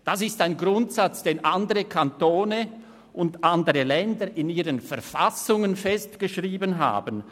Das ist ein Grundsatz, den andere Kantone und andere Länder in ihren Verfassungen festgeschrieben haben.